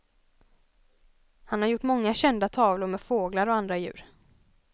Han har gjort många kända tavlor med fåglar och andra djur.